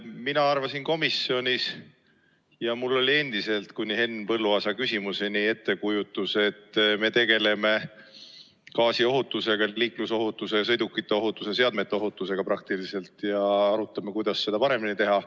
Mina arvasin komisjonis ja mul oli endiselt kuni Henn Põlluaasa küsimuseni ettekujutus, et me tegeleme gaasiohutusega, liiklusohutusega ja sõidukite seadmete ohutusega praktiliselt ja arutame, kuidas seda paremini teha.